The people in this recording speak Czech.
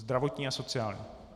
Zdravotní a sociální.